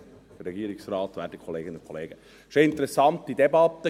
Es war eine interessante Debatte.